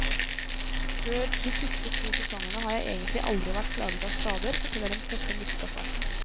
Før de to siste sesongene har jeg egentlig aldri vært plaget av skader, forteller den tøffe midtstopperen.